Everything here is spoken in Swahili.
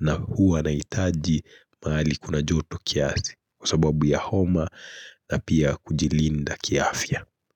na huwa nahitaji mahali kuna joto kiasi kwa sababu ya homa na pia kujilinda kiafya.